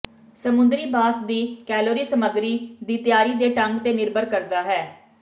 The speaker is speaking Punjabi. ਸਮੁੰਦਰੀ ਬਾਸ ਦੀ ਕੈਲੋਰੀ ਸਮੱਗਰੀ ਦੀ ਤਿਆਰੀ ਦੇ ਢੰਗ ਤੇ ਨਿਰਭਰ ਕਰਦਾ ਹੈ